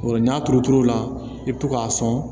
Yɔrɔ n'a turu la i bɛ to k'a sɔn